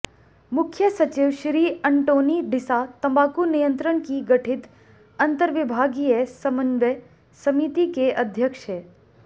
मुख्य सचिव श्री अन्टोनी डिसा तम्बाकू नियंत्रण की गठित अंतर्विभागीय समन्वय समिति के अध्यक्ष हैं